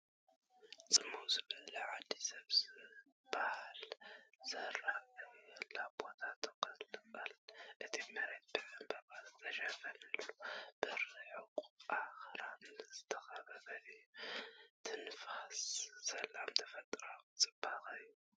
ጽምው ዝበለት ዓዲ ሰብ ዝባሃል ዘይራኣየላ ቦታ ትቕልቀል፤ እቲ መሬት ብዕምባባታት ዝተተኽለን ብርሑቕ ኣኽራን ዝተኸበበን እዩ። ትንፋስ ሰላምን ተፈጥሮኣዊ ጽባቐን እዩ።